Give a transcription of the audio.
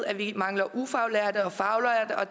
at vi mangler ufaglærte og faglærte og